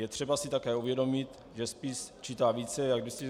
Je třeba si také uvědomit, že spis čítá více jak 270 stran.